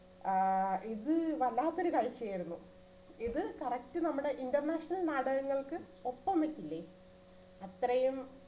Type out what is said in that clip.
ആ ഇത് വല്ലാത്ത ഒരു കാഴ്ചയായിരുന്നു ഇത് correct നമ്മുടെ international നാടകങ്ങൾക്ക് ഒപ്പം വെക്കില്ലേ അത്രയും